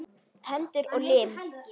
Hendur og lim.